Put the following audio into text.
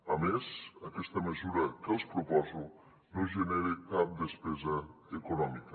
a més aquesta mesura que els proposo no genera cap despesa econòmica